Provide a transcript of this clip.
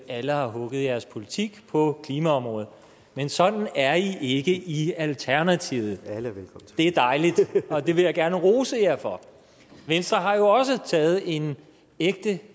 at alle har hugget jeres politik på klimaområdet men sådan er i ikke i alternativet det er dejligt og det vil jeg gerne rose jer for venstre har jo også taget en ægte